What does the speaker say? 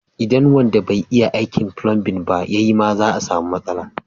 Idan wanda bai iya aikin fulanbin ba ya yi ma za a samu matsala.